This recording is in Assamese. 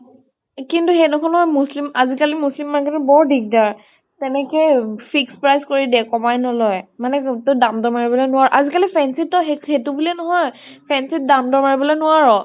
কিন্তু ইয়াতে কোনো মুছ্লিম । আজিকালি মুছলিম market তো বৰ দিগদাৰ । তেনেকে fixed price কৰি দিয়ে, কমাই নলয় । মানে যোন তো ত দাম দমাই পেলাই নলয় । আজিকালি fancy তো সেই সেইতো বুলিয়ে নহয় । fancy ত দাম দমাই পেলাই নোৱাৰ